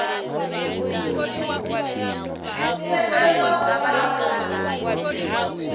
tsheke vha o vha vho